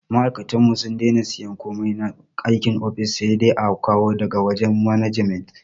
Ma aikatanmu sun dena siyan komai na aikin ofis, sai dai a kawo da ga wajen management